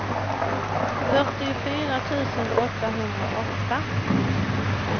fyrtiofyra tusen åttahundraåtta